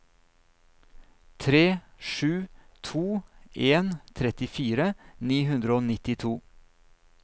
tre sju to en trettifire ni hundre og nittito